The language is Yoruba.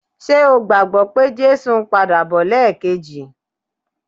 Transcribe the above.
Ṣe o gbàgbọ́ pé Jésù ń padà bọ̀ lẹ́ẹ̀kejì?